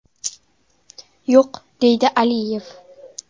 Yo‘q”, deydi Aliyev.